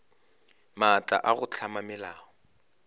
maatla a go hlama melao